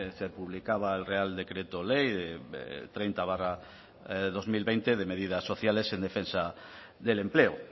se publicaba el real decreto ley de treinta barra dos mil veinte de medidas sociales en defensa del empleo